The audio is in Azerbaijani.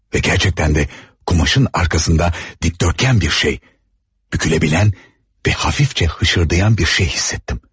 Və gerçəkdən də qumaşın arxasında dikdörtkən bir şey büküləbilən və hafifçə hışırdıyan bir şey hiss etdim.